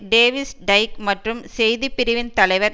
Davis Dyke மற்றும் செய்திப்பிரிவின் தலைவர்